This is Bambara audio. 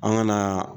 An ka na